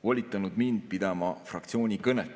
volitanud mind pidama fraktsiooni kõnet.